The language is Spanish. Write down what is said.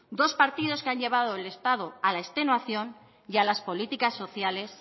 dos partidos que han llevado al estado a la extenuación y a las políticas sociales